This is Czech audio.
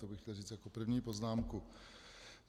To bych chtěl říct jako první poznámku.